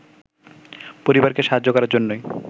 পরিবারকে সাহায্য করার জন্যই